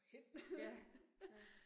Ja, ja